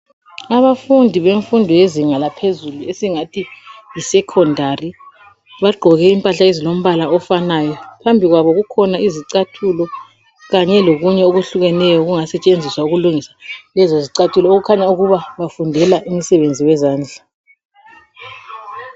Abafundi bemfundo yezinga laphezulu esingathi yisecondary bagqoke impahla ezilombala ofanayo. Phambi kwabo kukhona izicathulo kanye lokunye okuhlukeneyo okungasetshenziswa ukulungisa lezo zicathulo okukhanya ukuba bafundela umsebenzi wezandla.